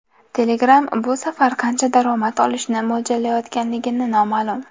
Telegram bu safar qancha daromad olishni mo‘ljallayotganligi noma’lum.